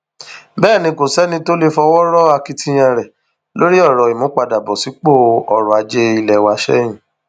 bẹẹ ni kò sẹni tó lè fọwọ rọ akitiyan rẹ lórí ọrọ ìmúpadàbọ sípò ọrọ ajé ilé wa sẹyìn